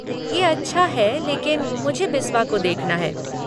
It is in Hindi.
ये अच्छा है, लेकिन मुझे बिस्वा को देखना है।